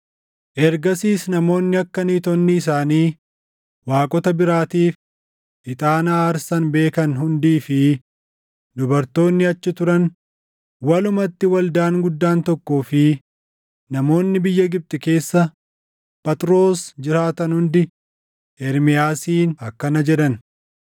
Ergasiis namoonni akka niitonni isaanii waaqota biraatiif ixaana aarsan beekan hundii fi dubartoonni achi turan, walumatti waldaan guddaan tokkoo fi namoonni biyya Gibxi keessa Phaxroos jiraatan hundi Ermiyaasiin akkana jedhan;